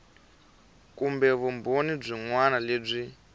kumbe vumbhoni byin wana lebyi